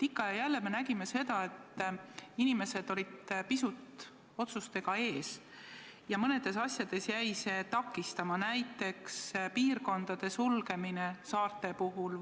Ikka ja jälle nägime, et inimesed olid otsustega pisut ees ja mõnes asjas jäi see takistama, näiteks piirkondade sulgemine saarte puhul.